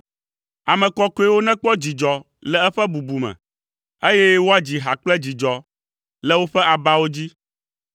Ame kɔkɔewo nekpɔ dzidzɔ le eƒe bubu me, eye woadzi ha kple dzidzɔ le woƒe abawo dzi.